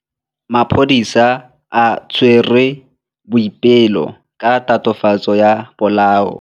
Maphodisa a tshwere Boipelo ka tatofatsô ya polaô.